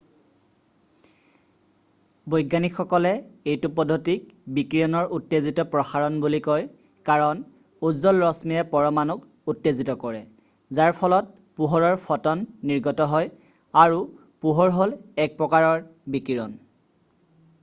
"বৈজ্ঞানিকসকলে এইটো পদ্ধতিক "বিকিৰণৰ উত্তেজিত প্ৰসাৰণ" বুলি কয় কাৰণ উজ্জ্বল ৰশ্মিয়ে পৰমাণুক উত্তেজিত কৰে যাৰ ফলত পোহৰৰ ফ'টন নিৰ্গত হয় আৰু পোহৰ হ'ল এক প্ৰকাৰৰ বিকিৰণ।""